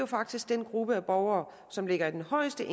faktisk den gruppe af borgere som ligger i den højeste